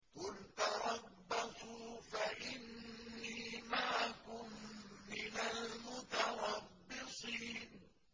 قُلْ تَرَبَّصُوا فَإِنِّي مَعَكُم مِّنَ الْمُتَرَبِّصِينَ